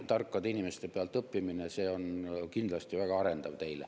Tarkade inimeste pealt õppimine on kindlasti väga arendav teile.